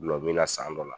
Gulɔmin na san dɔ la